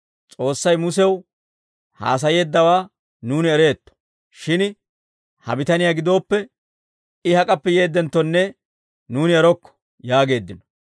S'oossay Musew haasayeeddawaa nuuni ereetto; shin ha bitaniyaa gidooppe, I hak'appe yeeddenttonne nuuni erokko» yaageeddino.